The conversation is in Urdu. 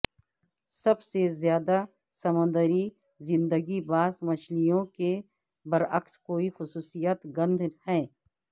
سب سے زیادہ سمندری زندگی باس مچھلیوں کے برعکس کوئی خصوصیت گند ہے